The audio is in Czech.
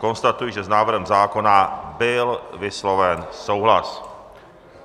Konstatuji, že s návrhem zákona byl vysloven souhlas.